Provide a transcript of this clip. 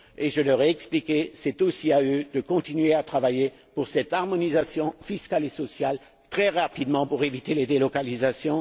Je leur ai expliqué que c'est aussi à eux de continuer à travailler en vue de cette harmonisation fiscale et sociale très rapidement pour éviter les délocalisations.